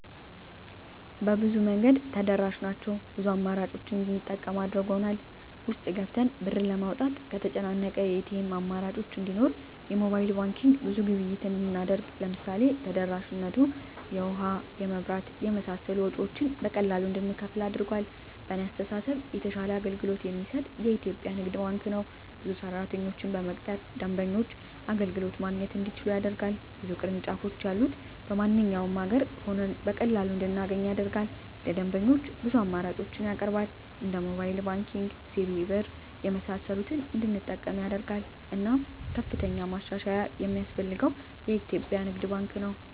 በብዙ መንገድ ተደራሽ ናቸው ብዙ አማራጮችን እንድንጠቀም አድርጎል። ውስጥ ገብተን ብር ለማውጣት ከተጨናነቀ የኤቲኤም አማራጮች እንዲኖር የሞባይል ባንኪንግ ብዙ ግብይት እንድናደርግ ለምሳሌ ተደራሽነቱ የውሀ, የመብራት የመሳሰሉ ወጭወችን በቀላሉ እንድንከፍል አድርጓል። በእኔ አስተሳሰብ የተሻለ አገልግሎት የሚሰጥ የኢትዪጵያ ንግድ ባንክ ነው። ብዙ ሰራተኞችን በመቅጠር ደንበኞች አገልግሎት ማግኘት እንዲችሉ ያደርጋል። ብዙ ቅርንጫፎች ያሉት በማንኛውም አገር ሆነን በቀላሉ እንድናገኝ ያደርጋል። ለደንበኞች ብዙ አማራጮችን ያቀርባል እንደ ሞባይል ባንኪንግ, ሲቢኢ ብር , የመሳሰሉትን እንድንጠቀም ያደርጋል። እናም ከፍተኛ ማሻሻያ የማስፈልገው የኢትዮጵያ ንግድ ባንክ ነው።